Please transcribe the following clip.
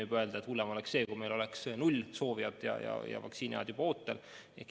Võib öelda, et hullem oleks see, kui meil oleks null soovijat ja vaktsiiniajad juba ootel.